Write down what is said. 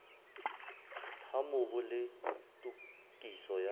ha mobu le tokiso ya